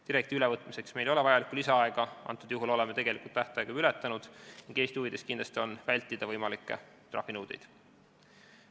Direktiivi ülevõtmiseks ei ole meil enam lisaaega, oleme tähtaja juba ületanud ning Eesti huvides on kindlasti vältida võimalikke trahvinõudeid.